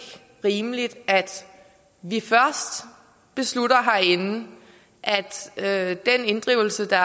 rimeligt at vi beslutter herinde at den inddrivelse der